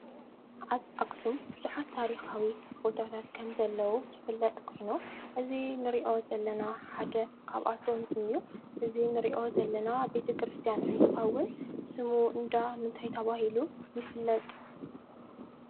ኣብ ኣክሱም ብዙሓት ታሪካዊ ቦታት ከም ዘለው ዝፍለጥ ኮይኑ እዚ እንሪኦ ዘለና ሓደ ካብኣቶም ሓደ እዩ። እዚ እንሪኦ ዘለና ቤተ-ክርስትያን እንትኸውን፤ ስሙ እንዳ ምንታይ ተባሂሉ ይፍለጥ?